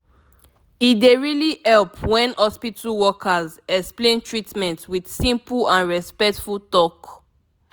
e dey really help when hospital workers explain treatment with simple and respectful talk